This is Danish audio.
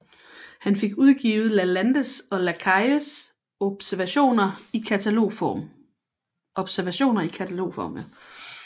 Han fik udgivet Lalandes og Lacailles observationer i katalogform